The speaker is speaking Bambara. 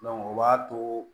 o b'a to